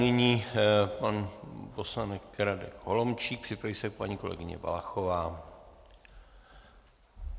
Nyní pan poslanec Radek Holomčík, připraví se paní kolegyně Valachová.